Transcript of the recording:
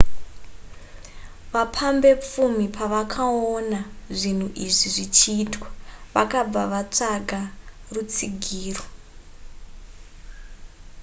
vapambepfumi pavakaona zvinhu izvi zvichiitwa vakabva vatsvaga rutsigiro